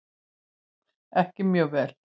Ekki mjög vel.